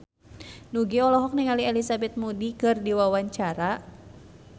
Nugie olohok ningali Elizabeth Moody keur diwawancara